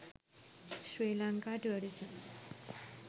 srilanka tourism